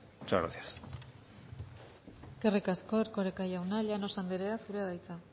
muchas gracias eskerrik asko erkoreka jauna llanos andrea zurea da hitza